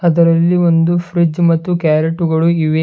ಇದರಲ್ಲಿ ಒಂದು ಫ್ರಿಡ್ಜ್ ಮತ್ತು ಕ್ಯಾರಟುಗಳು ಇವೆ.